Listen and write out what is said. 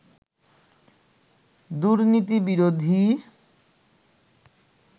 দুর্নীতি বিরোধী